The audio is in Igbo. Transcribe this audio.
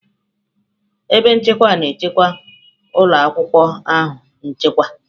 Ebe nchekwa na-echekwa ụlọ akwụkwọ ahụ nchekwa.